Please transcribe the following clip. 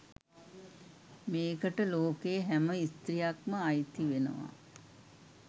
මේකට ලෝකයේ හැම ස්ත්‍රියක්ම අයිති වෙනවා.